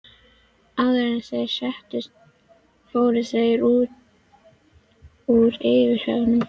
Áður en þeir settust fóru þeir úr yfirhöfnunum.